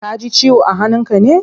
Kaji ciwo a hannun ka ne?